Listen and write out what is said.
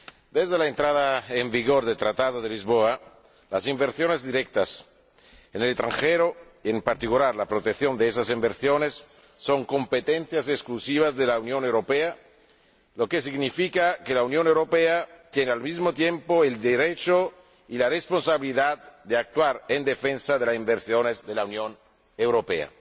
Desde la entrada en vigor del Tratado de Lisboa, las inversiones directas en el extranjero, y en particular la protección de esas inversiones, son competencia exclusiva de la Unión Europea, lo que significa que la Unión Europea tiene al mismo tiempo el derecho y la responsabilidad de actuar en defensa de las inversiones de la Unión Europea.